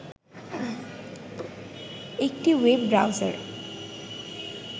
একটি web browser